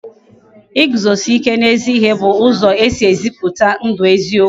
Iguzosi ike n'ezi ihe bụ ụzọ e si ezipụta ndụ eziokwu